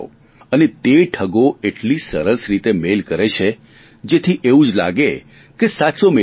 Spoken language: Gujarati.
અને તે ઠગો એટલી સરસ રીતે મેઇલ કરે છે જેથી એવું જ લાગે કે સાચો જ મેઇલ છે